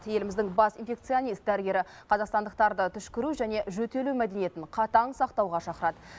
еліміздің бас инфекционист дәрігері қазақстандықтарды түшкіру және жөтелу мәдениетін қатаң сақтауға шақырад